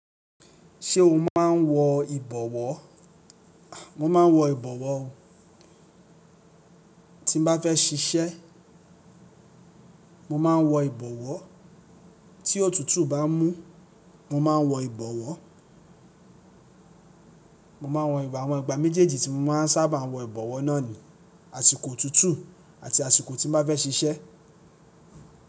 Ṣé o máa ń wọ ìbọwọ́? Mo máa ń wọ ìbọwọ́ ọ. Tí n bá fẹ́ ṣiṣẹ́, mo máa ń wọ ìbọwọ́. Tí òtútù bá mú, mo máa ń wọ ìbọwọ́. Mo máa wọ ìbọ̀wọ̀. Àwọn ìgbà méjèèjì tí mo máa ń sábà wọ ìbọwọ́ náà ni àsìkò òtútù àti àsìkò tí mo bá fẹ́ ṣiṣẹ́.